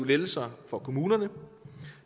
lettelser for kommunerne